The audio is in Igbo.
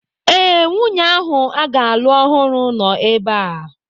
Ee, nwunye ahụ a ga-alụ ọhụrụ nọ ebea